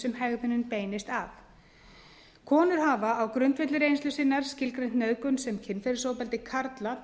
sem hegðunin beinist að konur hafa á grundvelli reynslu sinnar skilgreint nauðgun sem kynferðisofbeldi karla